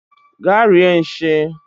Gaa rie nshi!